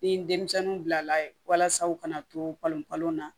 Ni denmisɛnninw bilala ye walasa u kana tolonkɔlaw na